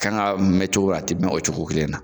kan ka mɛn cogo minu, a tɛ mɛn o cogo kelen na.